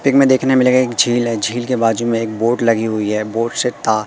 peak में देखने मिलेगा एक झील है झील के बाजू में एक बोर्ड लगी हुई है बोर्ड से ता--